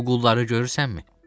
Bu qulları görürsənmi?